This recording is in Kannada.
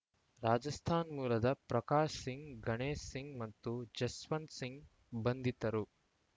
ರಾಜಸ್ಥಾನ ಮೂಲದ ಪ್ರಕಾಶ್‌ ಸಿಂಗ್‌ ಗಣೇಶ್‌ ಸಿಂಗ್‌ ಮತ್ತು ಜಸ್ವಂತ್‌ ಸಿಂಗ್‌ ಬಂಧಿತರು